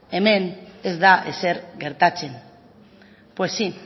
hemen ez da ezer gertatzen pues sí